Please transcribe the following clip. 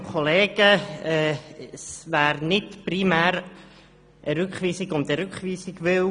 Es wäre nicht primär eine Rückweisung um der Rückweisung willen.